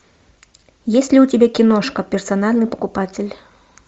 есть ли у тебя киношка персональный покупатель